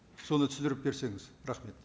соны түсіндіріп берсеңіз рахмет